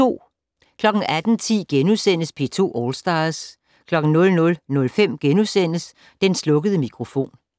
18:10: P2 All Stars * 00:05: Den slukkede mikrofon *